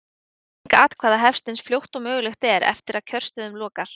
Talning atkvæða hefst eins fljótt og mögulegt er eftir að kjörstöðum lokar.